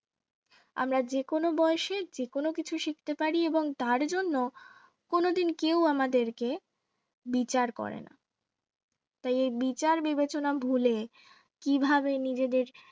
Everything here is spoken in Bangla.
আমরা যেকোনো বয়সে যে কোন কিছু শিখতে পারি এবং তার জন্য কোনদিন কেউ আমাদেরকে বিচার করে না তাই এই বিচার বিবেচনা ভুলে কিভাবে নিজেদের